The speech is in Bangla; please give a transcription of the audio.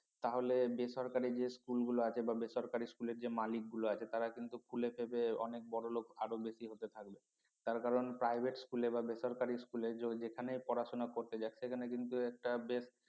তাহলে বেসরকারি যে স্কুলগুলো আছে বা বেসরকারি স্কুলের যে মালিকগুলো আছে তারা কিন্তু ফুলে ফেঁপে অনেক বড়লোক আরো বেশি হতে থাকবে তার কারণ private school এ বা বেসরকারি school এ যেখানে পড়াশোনা করতে যাক সেখানে কিন্তু একটা বেশ